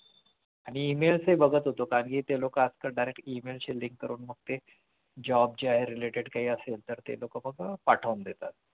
आणि Emails हि पाहत होतो कारण कि ते लोकं आजकाल direct email link करून मग ते job जे आहे related काही असेल तर ते लोकं मग अं पाठवून देतात